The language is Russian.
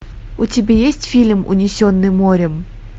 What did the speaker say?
у тебя есть фильм унесенные морем